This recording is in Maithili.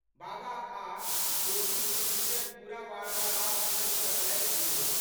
बाबा आ' जोगीक बीचक पूरा वार्तालाप सुनैत रहए गुल्लो।